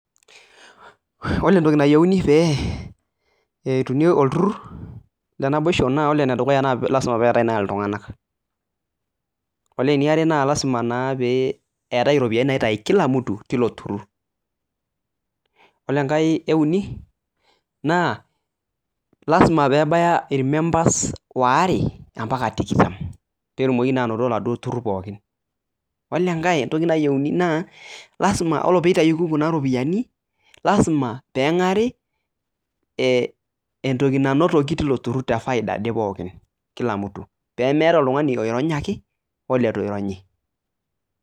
Ore entoki nayeuni pee etumi elturrur le naboisho na ore nedukuya naa lasima peatae naa iltunganak. Ore neare naa lasima naa peatae iropiyiani naitai kila mtu teilo turrur. Ore enkae euni naa lasima peebaya irmembers oare ompaka tikitam petumoki naa anoto eladuo turrur pookin. Ore enkae toki nayeuni naa lasima ore peitayoki kuna iropiyiani, lasima peeng'ari entoki nanotoki teiko turrur tefaida pookin kila mtu peemeta oltungani oironyaki oo leitu eironyi.